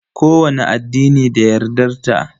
Kowani addini da yardar ta.